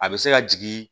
A bɛ se ka jigin